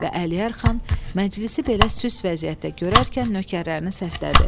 Və Əliyar xan məclisi belə süs vəziyyətdə görərkən nökərlərini səslədi.